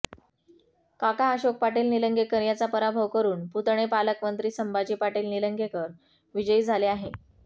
काका अशोक पाटील निलंगेकर याचा पराभव करुन पुतणे पालकमंत्री संभाजी पाटील निलंगेकर विजयी झाले आहे